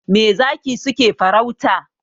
Me zaki suke farauta?